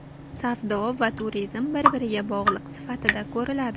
Savdo va turizm bir-biriga bog‘liq sifatida ko‘riladi.